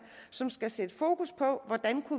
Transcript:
som skal sætte fokus på hvordan